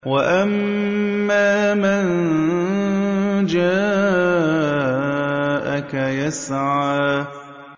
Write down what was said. وَأَمَّا مَن جَاءَكَ يَسْعَىٰ